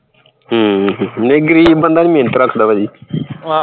ਹਮ ਗਰੀਬ ਬੰਦਾ ਨਹੀਂ ਮੇਹਨਤ ਰੱਖਦਾ ਭਾਜੀ